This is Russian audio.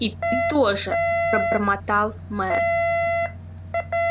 и ты тоже пробормотал мэр